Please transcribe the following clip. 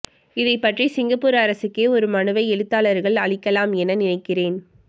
இதைப்பற்றி சிங்கப்பூர் அரசுக்கே ஒரு மனுவை எழுத்தாளர்கள் அளிக்கலாம் என நினைக்கிறேன்